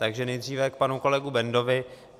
Takže nejdříve k panu kolegovi Bendovi.